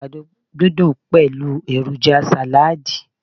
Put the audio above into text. àgbàdo didun pẹlu eroja salad